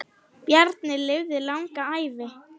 Bjarni lifði langa ævi.